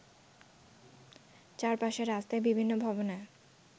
চারপাশের রাস্তায় বিভিন্ন ভবনে